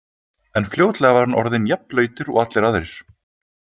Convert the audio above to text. En fljótlega var hann orðinn jafn blautur og allir aðrir.